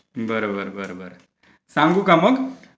बरं बरं बरं सांगू काय मग ?